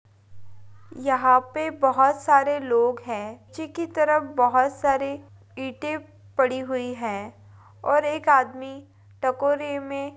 यहाँ पे बहुत सारे लोग है पीछे की तरफ बहुत सारे ईटे पड़ी हुई है और एक आदमी टकोरे मे --